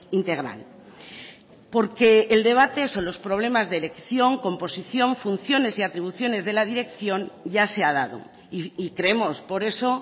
integral porque el debate son los problemas de elección composición funciones y atribuciones de la dirección ya se ha dado y creemos por eso